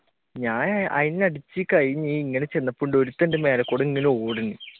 ഞാൻ അതിനെ അടിച്ചു കഴിഞ്ഞു ഇങ്ങനെ ചെന്നപ്പോ ഒരുത്തൻ എന്റെ മേലെകൂടി ഇങ്ങനെ ഓടാനെണ്